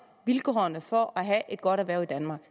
vilkårene for at have et godt erhverv